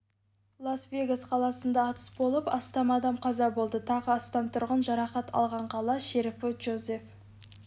лас-вегас қаласында атыс болып астам адам қаза болды тағы астам тұрғын жарақат алған қала шерифі джозеф